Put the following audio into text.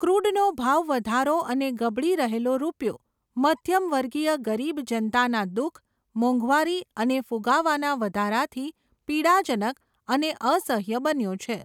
ક્રૂડનો ભાવવધારો અને ગબડી રહેલો રૂપિયો, મધ્યમવર્ગીય ગરીબ જનતાના દુખ, મોંઘવારી અને ફુગાવાના વધારાથી પીડાજનક અને અસહ્ય બન્યો છે.